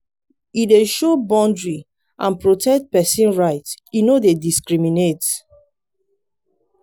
e do show boundary and protect pesin right e no dey discriminate.